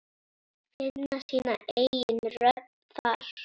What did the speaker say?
Finna sína eigin rödd þar.